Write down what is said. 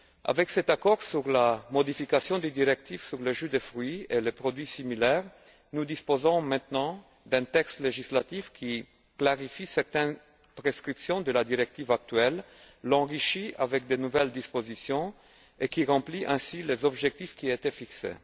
Avec cet accord sur la modification de la directive sur les jus de fruits et les produits similaires, nous disposons maintenant d'un texte législatif qui clarifie certaines prescriptions de la directive actuelle, l'enrichit avec de nouvelles dispositions et remplit ainsi les objectifs qui étaient fixés.